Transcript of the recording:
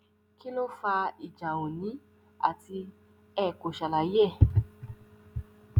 kí ló fa ìjà òòní àti ẹ kò ṣàlàyé ẹ